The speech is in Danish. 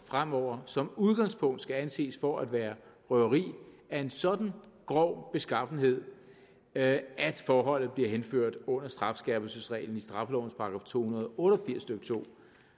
fremover som udgangspunkt skal anses for at være røveri af en sådan grov beskaffenhed at forholdet bliver henført under strafskærpelsesreglen i straffelovens § to hundrede og otte og firs stykke to